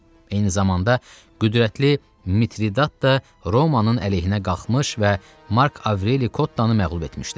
Eyni zamanda qüdrətli Mitridat da Romanın əleyhinə qalxmış və Mark Avreli Kottanı məğlub etmişdi.